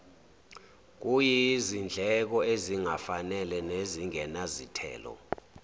kuyizindleko ezingafanele nezingenazithelo